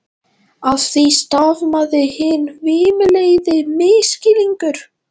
Af því stafaði hinn hvimleiði misskilningur.